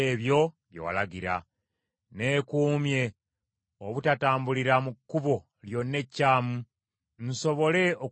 Neekuumye obutatambulira mu kkubo lyonna ekyamu, nsobole okugondera ekigambo kyo.